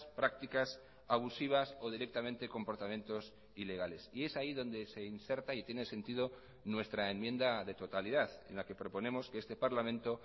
prácticas abusivas o directamente comportamientos ilegales y es ahí donde se inserta y tiene sentido nuestra enmienda de totalidad en la que proponemos que este parlamento